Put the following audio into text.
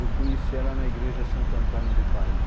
Eu conheci ela na igreja Santo Antônio do Pari